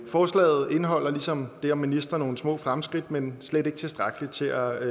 forslaget indeholder ligesom det om ministre nogle små fremskridt men slet ikke tilstrækkeligt til at